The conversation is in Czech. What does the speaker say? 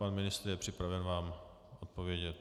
Pan ministr je připraven vám odpovědět.